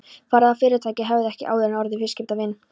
Þar eð fyrirtækið hefði ekki áður orðið viðskipta við